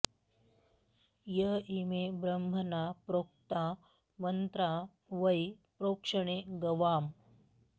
य इमे ब्रह्मणा प्रोक्ता मन्त्रा वै प्रोक्षणे गवाम्